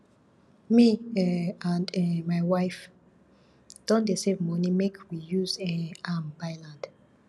me um and um my wife don dey save moni make we use um am buy land